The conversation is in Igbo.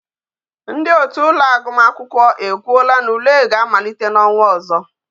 Ndi otu ụlọ akwụkwọ agumakwukwo ekwuola na ule ga-amalite na onwa ozo